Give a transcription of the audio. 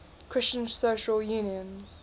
christian social union